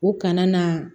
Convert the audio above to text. U kana na